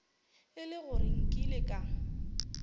e le gore nkile ka